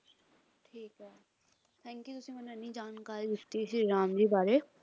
ਠੀਕ ਹੈ thank you ਤੁਸੀਂ ਮੈਨੂੰ ਐਂਨੀ ਜਾਣਕਾਰੀ ਦਿੱਤੀ ਸ਼੍ਰੀ ਰਾਮ ਜੀ ਬਾਰੇ